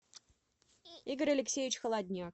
игорь алексеевич холодняк